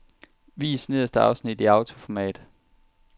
Vis nederste afsnit i autoformat.